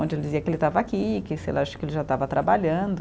Onde ele dizia que ele estava aqui, que sei lá, acho que ele já estava trabalhando.